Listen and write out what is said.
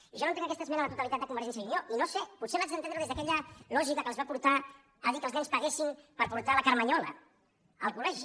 i jo no entenc aquesta esmena a la totalitat de convergència i unió i no ho sé potser l’haig d’entendre des d’aquella lògica que els va portar a dir que els nens paguessin per portar la carmanyola al col·legi